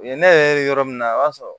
U ye ne yɛrɛ ye yɔrɔ min na o b'a sɔrɔ